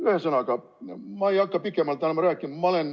Ühesõnaga, ma ei hakka pikemalt enam rääkima.